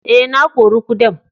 Eh, na kori kudan.